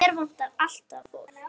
Hér vantar alltaf fólk.